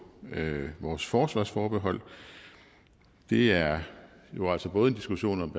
vores forsvarsforbehold det er jo altså både en diskussion om